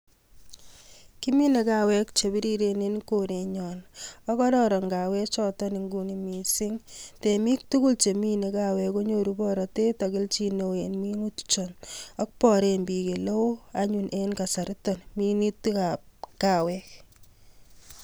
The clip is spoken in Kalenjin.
Kimine kawek che biriren en koret nyon. Ko kararan kawek chotok en nguni mising. Temik tugul chemine kawek konyoru borotet ak kelchin neo en minutik chon. Ak baren biik eleo anyun en kasaritoni minutikab kawek.